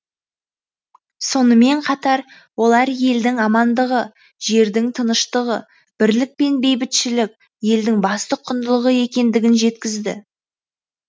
сонымен қатар олар елдің амандығы жердің тыныштығы бірлік пен бейбітшілік елдің басты құндылығы екендігін жеткізді